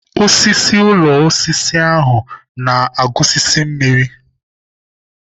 Osisi ụlọ osisi ahụ na-agusisi mmiri.